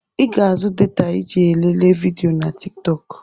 I ga-azụ data iji lelee vidiyo na Tik tọk.